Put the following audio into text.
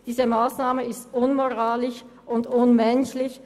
Diese Massnahme ist unmoralisch und unmenschlich.